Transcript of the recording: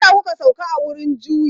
Me ya sa kuka sauka a wurin juyi?